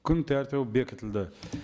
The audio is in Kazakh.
күн тәртібі бекітілді